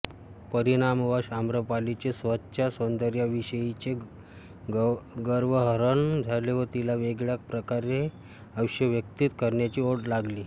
परिणामवश आम्रपालीचे स्वतःच्या सौंदर्याविषयीचे गर्वहरण झाले व तिला वेगळ्या प्रकारे आयुष्य व्यतीत करण्याची ओढ लागली